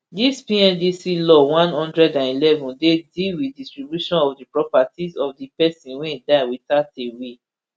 dis pndc law one hundred and eleven dey deal wit distribution of di properties of pesin wey die witout a will